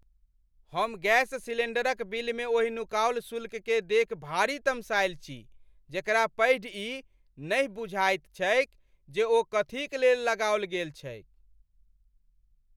हम गैस सिलेण्डरक बिलमे ओहि नुकाओल शुल्ककेँ देखि भारी तमसायल छी जेकरा पढ़ि ई नहि बुझाइत छैक जे ओ कथीक लेल लगाओल गेल छैक।